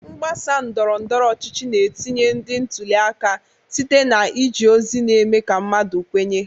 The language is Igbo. Mgbasa ndọrọ ndọrọ ọchịchị na-etinye ndị ntuli aka site na iji ozi na-eme ka mmadụ kwenye.